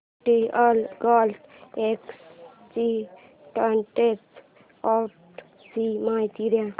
UTI gold exchange traded fund ची माहिती दे